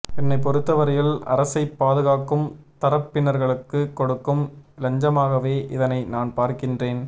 ஏன்னைப் பொறுத்தவரையில் அரசைப் பாதுகாக்கும் தரப்பினர்களுக்கு கொடுக்கும் இலஞ்சமாகவே இதனை நான் பார்க்கின்றேன்